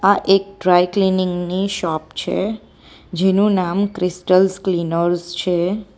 આ એક dry cleaning ની શોપ છે જેનું નામ ક્રિસ્ટલ ક્લીનર્સ છે.